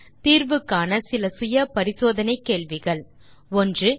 நீங்கள் தீர்வு காண இதோ சில செல்ஃப் அசெஸ்மென்ட் கேள்விகள் 1